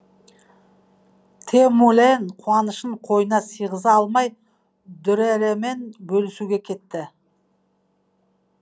тэмүлэн қуанышын қойнына сыйғыза алмай дүрэрэмен бөлісуге кетті